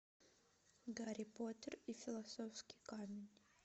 гарри поттер и философский камень